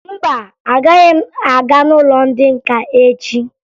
Mba, agaghị m aga n'ụlọ ndị nka echi